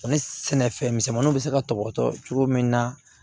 Ni sɛnɛfɛn misɛnmaninw bɛ se ka tɔbɔtɔ cogo min na